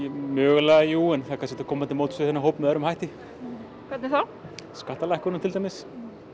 mögulega jú en það er kannski hægt að koma til móts við þennan hóp með öðrum hætti hvernig þá skattalækkunum til dæmis